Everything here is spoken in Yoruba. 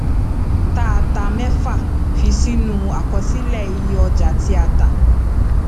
ta ta mẹfà fi sínú àkọsílẹ iye ọjà tí a tà